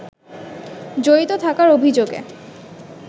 জড়িত থাকার অভিযোগে